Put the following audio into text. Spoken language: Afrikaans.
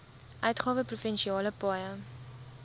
uitgawe provinsiale paaie